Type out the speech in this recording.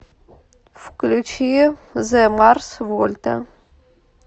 включи зе марс вольта